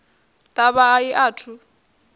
ḓavha a i a thu